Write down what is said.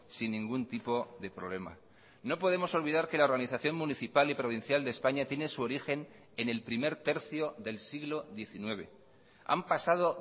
sin ningún tipo de problema no podemos olvidar que la organización municipal y provincial de españa tiene su origen en el primer tercio del siglo diecinueve han pasado